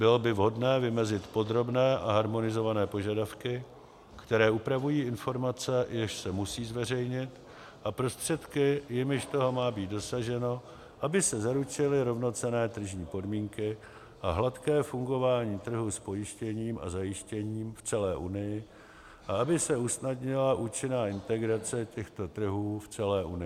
Bylo by vhodné vymezit podrobné a harmonizované požadavky, které upravují informace, jež se musí zveřejnit, a prostředky, jimiž toho má být dosaženo, aby se zaručily rovnocenné tržní podmínky a hladké fungování trhu s pojištěním a zajištěním v celé unii a aby se usnadnila účinná integrace těchto trhů v celé unii.